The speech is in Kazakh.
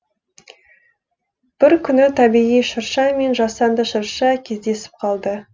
бір күні табиғи шырша мен жасанды шырша кездесіп қалды